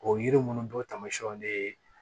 O yiri ninnu bɔ tamasiyɛnw de ye